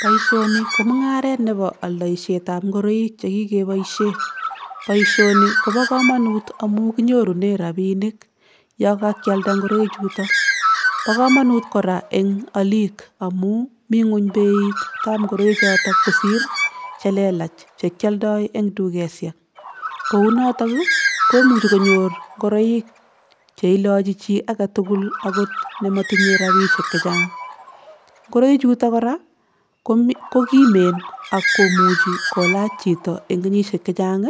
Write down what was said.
Boisioni ko mungaret nebo aldoisietab ngoroik che kikeboisie, boisioni kobo kamanut amu kinyorune rabiinik ya kakyalda ngoroi chuto, bo kamanut kora eng aliik amu mi nguny beitab ngoroichoto kosir che lelach che kyoldoi eng dukesiek, kou notok ii komuchi konyor ngoroik cheilochi chii age tugul akot nematinye rabiisiek che chang. Ngoroi chuto kora kokimen ak komuchi kolach chito eng kenyisiek che chang